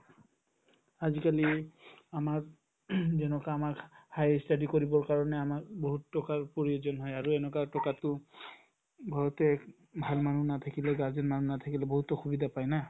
আজিকালি আমাৰ যেনেকুৱা আমাক higher study কৰিবৰ কাৰণে আমাক বহুত টকাৰ প্ৰয়োজন হয় আৰু এনেকুৱা টকাতো বহুতে ভাল মানুহ নাথাকিলে guardian মানুহ নাথাকিলে বহুত অসুবিধা পাই না